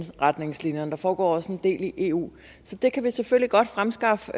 retningslinjerne der foregår også en del i eu så det kan vi selvfølgelig godt fremskaffe